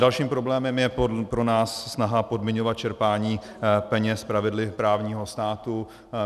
Dalším problémem je pro nás snaha podmiňovat čerpání peněz pravidly právního státu.